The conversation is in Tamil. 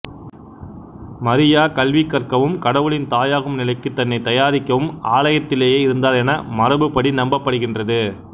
மரியா கல்வி கற்கவும் கடவுளின் தாயாகும் நிலைக்கு தன்னை தயாரிக்கவும் ஆயலத்திலேயே இருந்தார் என மரபுப்படி நம்பப்படுகின்றது